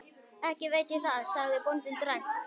Ekki veit ég það, sagði bóndinn dræmt.